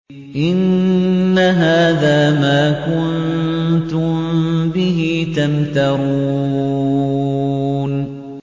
إِنَّ هَٰذَا مَا كُنتُم بِهِ تَمْتَرُونَ